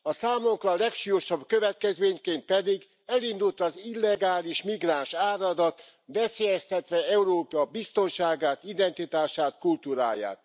A számunkra legsúlyosabb következményként pedig elindult az illegális migránsáradat, veszélyeztetve Európa biztonságát, identitását, kultúráját.